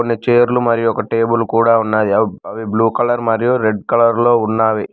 ఇడ చేర్లు మరియు ఒక టేబులు కూడా ఉన్నాది అవ్ అవి బ్లూ కలర్ మరియు రెడ్ కలర్ లో ఉన్నావి.